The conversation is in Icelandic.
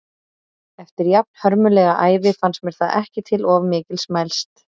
Eftir jafnhörmulega ævi fannst mér það ekki til of mikils mælst.